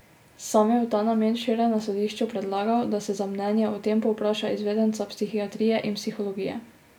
Sam je v ta namen včeraj na sodišču predlagal, da se za mnenje o tem povpraša izvedenca psihiatrije in psihologije.